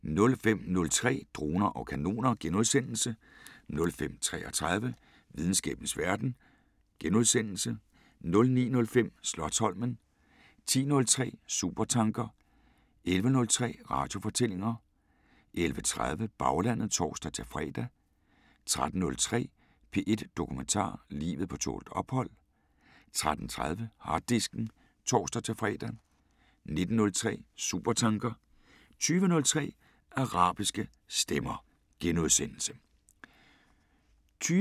05:03: Droner og kanoner * 05:33: Videnskabens Verden * 09:05: Slotsholmen 10:03: Supertanker 11:03: Radiofortællinger 11:30: Baglandet (tor-fre) 13:03: P1 Dokumentar: Livet på tålt ophold 13:30: Harddisken (tor-fre) 19:03: Supertanker * 20:03: Arabiske Stemmer *